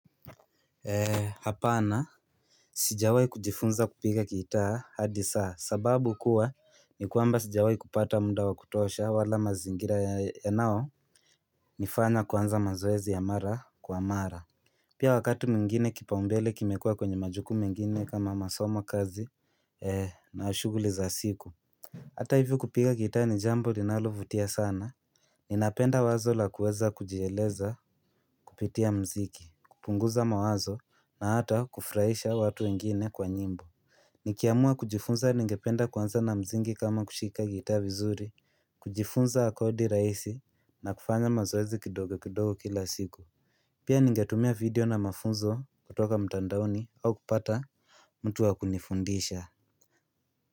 Eee hapana Sijawai kujifunza kupiga gitaa hadi sasa sababu kuwa ni kwamba sijawai kupata munda wa kutosha wala mazingira yanao nifaa na kuanza mazoezi ya mara kwa mara Pia wakati mingine kipaumbele kimekuwa kwenye majukumu mengine kama masomo kazi na shuguli za siku Hata hivyo kupiga gitaa ni jambo ninalovutia sana Ninapenda wazo la kuweza kujieleza kupitia mziki, kupunguza mawazo na hata kufurahisha watu wengine kwa nyimbo Nikiamua kujifunza ningependa kuanza na msingi kama kushika gitaa vizuri, kujifunza kodi raisi na kufanya mazoezi kidogo kidogo kila siku Pia ningetumia video na mafunzo kutoka mtandaoni au kupata mtu wakunifundisha.